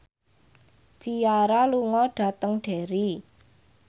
Ciara lunga dhateng Derry